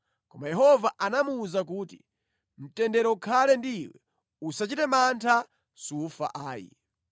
Koma Yehova anamuwuza kuti, “Mtendere ukhale ndi iwe! Usachite mantha, sufa ayi.”